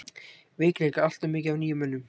Veikleikar: Alltof mikið af nýjum mönnum.